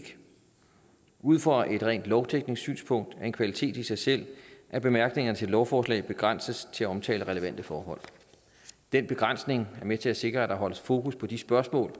ud fra et rent lovteknisk synspunkt er det en kvalitet i sig selv at bemærkningerne til et lovforslag begrænses til at omtale relevante forhold den begrænsning er med til at sikre at der holdes fokus på de spørgsmål